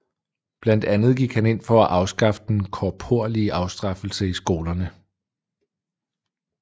Blandt andet gik han ind for at afskaffe den korporlige afstraffelse i skolerne